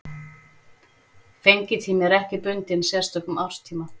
Fengitími er ekki bundinn sérstökum árstíma.